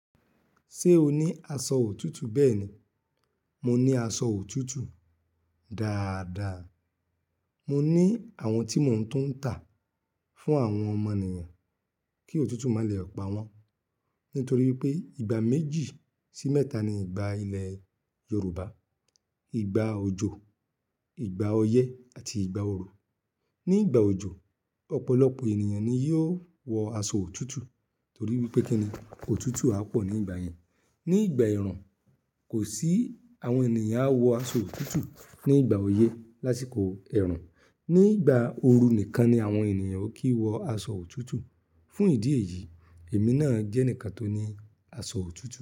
Ṣé o ní aṣọ òtútù? Bẹ́ẹ̀ni, mo ní aṣọ òtútù. Dáadáa. Mo ní àwọn tí mò ń tún ń tà fún àwọn ọmọnìyàn kí òtútù má lè pa wọ́n. Nítorí pé ìgbà méjì sí mẹ́ta ni ìgbà ilẹ̀ Yorùbá. Ìgbà òjò, ìgbà oyé àti ìgbà ooru. Ní ìgbà òjò, ọ̀pọlọ̀pọ̀ ènìyàn ni yóò wọ aṣọ òtútù torí wípé kíni òtútù á pọ̀ ní ìgbà yẹn. Ní ìgbà ẹ̀rùn, kò sí àwọn ènìyàn á wọ aṣọ òtútù. Ní ìgbà oyé lásìkò ẹ̀rùn. Ní ìgbà ooru nìkan ni àwọn ènìyàn kì í wọ aṣọ òtútù. Fún ìdí èyí, èmi náà jẹ́ ẹnìkan tó ní aṣọ òtútù.